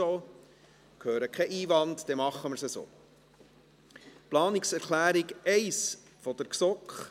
– Ich höre keinen Einwand, dann machen wir es so.